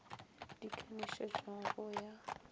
di ka nošetšwago go ya